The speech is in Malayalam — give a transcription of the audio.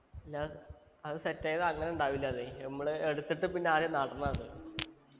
നാ അത് set ആയത് അങ്ങനെ ഉണ്ടാവില്ലാന്നെ നമ്മള് എടുത്തിട്ട് പിന്നെ ആദ്യെ നടണം അത്